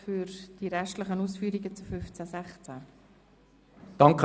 Kommissionspräsident der SiK.Bei Artikel 15 Absatz 4 und bei Artikel